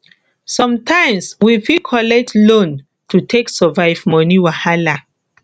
sometimes we fit collect loan to take survive money wahala